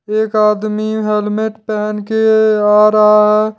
एक आदमी हेलमेट पहन के आ रहा है।